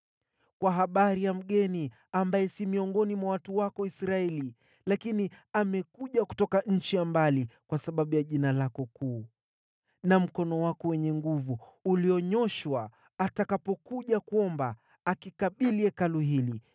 “Kwa habari ya mgeni ambaye si miongoni mwa watu wako Israeli, lakini amekuja kutoka nchi ya mbali kwa sababu ya jina lako kuu na mkono wako wenye nguvu ulionyooshwa, atakapokuja kuomba kuelekea Hekalu hili,